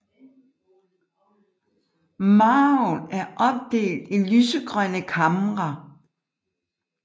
Marven er opdelt i lysegrønne kamre